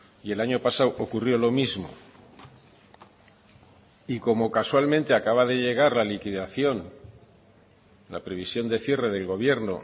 y el año pasado ocurrió lo mismo y como casualmente acaba de llegar la liquidación la previsión de cierre del gobierno